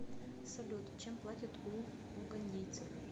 салют чем платят у угандийцев